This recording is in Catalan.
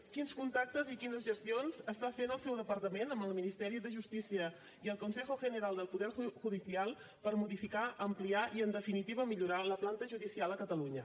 quins contactes i quines gestions està fent el seu departament amb el ministeri de justícia i el consejo general del poder judicial per modificar ampliar i en definitiva millorar la planta judicial a catalunya